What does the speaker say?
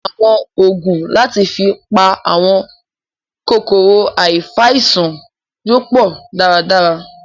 Àwọn ògùn láti fi pa àwọn kòkòrò afàìsàn yóò pọ dára dára